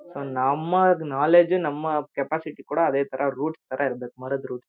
So ನಮ್ಮಗ್ knowledge ನಮ್ಮ capacity ಕೂಡ ಅದೇತರ ರೂಟ್ಶ್ ತರ ಇರ್ಬೇಕ್ ಮರದ್ ರೂಟ್ಸ್ .